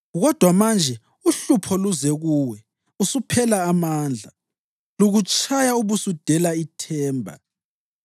Kodwa manje uhlupho luze kuwe, usuphela amandla; lukutshaya ubusudela ithemba.